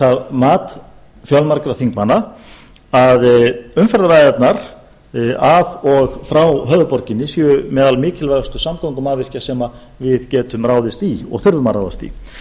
það mat fjölmargra þingmanna að umferðaræðarnar að og frá höfuðborginni séu meðal mikilvægustu samgöngumannvirkja sem við getum ráðist í og þurfum að ráðast í